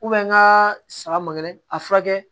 n ka saga ma gɛlɛ a furakɛ